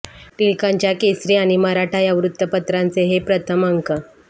टिळकांच्या केसरी आणि मराठा या वृत्तपत्रांचे हे प्रथम अंक